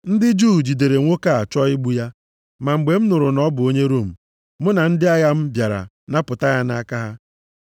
Ndị Juu jidere nwoke a chọọ igbu ya, ma mgbe m nụrụ na ọ bụ onye Rom, mụ na ndị agha m bịara napụta ya nʼaka ha.